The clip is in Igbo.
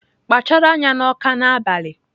Kpachara anya na Awka n'abalị!